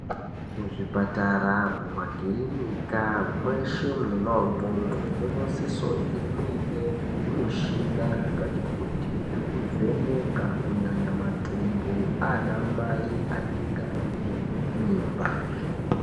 Muzvipatara, mumakirinika, mweshe mwona umwomwo munosise kunge muine zvimushina zvakatikuti zvekuvheneka, kunyanya matumbu aanamai anenge aine mimba.